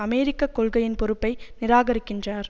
அமெரிக்க கொள்கையின் பொறுப்பை நிராகரிக்கின்றார்